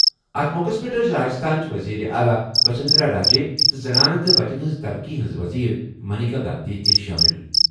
اَتھ موقعَس پٮ۪ٹھ ٲسۍ راجستھانٕچ وزیر اعلیٰ وسندھرا راجے تہٕ زنانہٕ تہٕ بچَن ہٕنٛز ترقی ہٕنٛز وزیر منیکا گاندھی تہِ شٲمِل۔